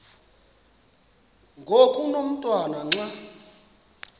ngoku umotwana xa